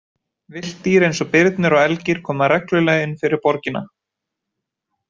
Villt dýr eins og birnir og elgir koma reglulega inn fyrir borgina.